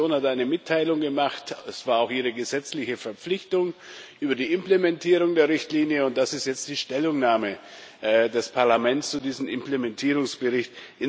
Die Kommission hat eine Mitteilung gemacht es war auch ihre gesetzliche Verpflichtung über die Implementierung der Richtlinie, und das ist jetzt die Stellungnahme des Parlaments zu diesem Implementierungsbericht.